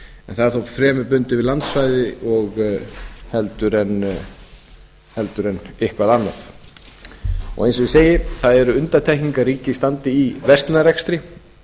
en það er þó fremur bundið við landsvæði heldur en eitthvað annað eins og ég segi það eru undantekningar að ríkið standi í verslunarrekstri